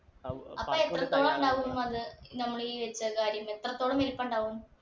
അപ്പൊ എത്രത്തോളം ഉണ്ടാവും അത് നമ്മൾ ഈ വെച്ച കാര്യം എത്രത്തോളം വലുപ്പണ്ടാവും